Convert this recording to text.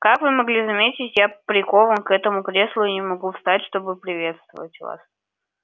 как вы могли заметить я прикован к этому креслу и не могу встать чтобы поприветствовать вас